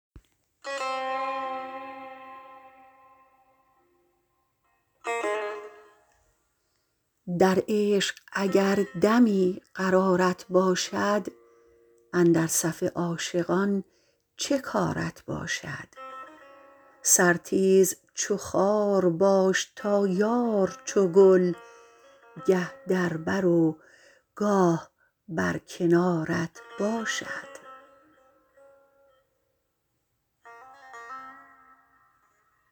در عشق اگر دمی قرارت باشد اندر صف عاشقان چه کارت باشد سر تیز چو خار باش تا یار چو گل گه در برو گاه بر کنارت باشد